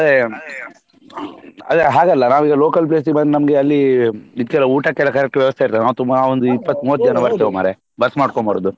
ಅದೇ ಅದೇ ಹಾಗಲ್ಲ ನಾವು ಈಗ local place ಗೆ ಬಂದ್ ನಮ್ಗೆ ಅಲ್ಲಿ ಇದಕ್ಕೆ ಊಟಕ್ಕೆಲ್ಲ correct ವ್ಯವಸ್ಥೆ ಇರ್ತದ ನಾವ್ ತುಂಬ ಒಂದ್ ಇಪ್ಪತ್ ಮೂವತ್ ಜನ ಬರ್ತೇವೆ ಮಾರ್ರೆ bus ಮಾಡ್ಕೊಂಡು ಬರುದು.